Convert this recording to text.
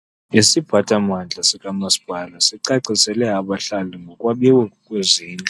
Isiphathamandla sikamasipala sicacisele abahlali ngokwabiwa kwezindlu.